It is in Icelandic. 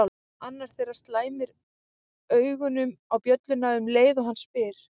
Annar þeirra slæmir augunum á bjölluna um leið og hann spyr